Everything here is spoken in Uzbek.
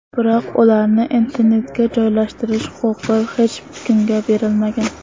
Biroq ularni internetga joylashtirish huquqi hech kimga berilmagan.